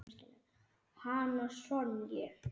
Hana Sonju?